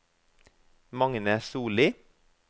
Magne Sollie